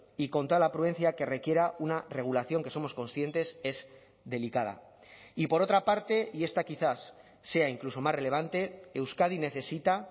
y con toda la prudencia que requiera una regulación que somos conscientes es delicada y por otra parte y esta quizás sea incluso más relevante euskadi necesita